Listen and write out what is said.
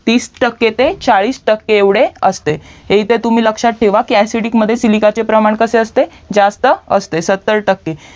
तीस टक्के ते चाळीस टक्के इतके असते हे तर तुम्ही लक्ष्यात ठेवा असेडिक मध्ये सिलिकाचे प्रमाण जास्त असते सत्तर टक्के